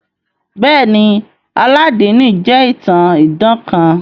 Bẹẹni, Alladini jẹ itan idan kan.